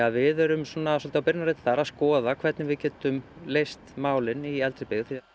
við erum svolítið á byrjunarreit þar að skoða hvernig við getum leyst málin í eldri byggð við